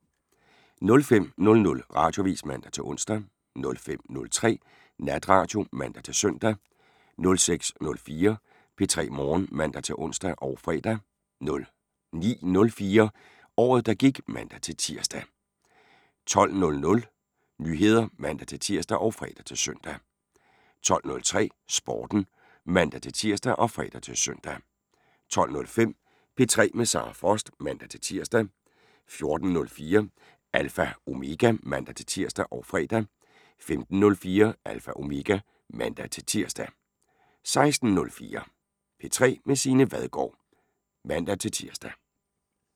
05:00: Radioavis (man-ons) 05:03: Natradio (man-søn) 06:04: P3 Morgen (man-ons og fre) 09:04: Året der gik (man-tir) 12:00: Nyheder (man-tir og fre-søn) 12:03: Sporten (man-tir og fre-søn) 12:05: P3 med Sara Frost (man-tir) 14:04: Alpha Omega (man-tir og fre) 15:04: Alpha Omega (man-tir) 16:04: P3 med Signe Vadgaard (man-tir)